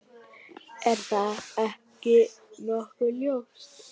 Er það ekki nokkuð ljóst?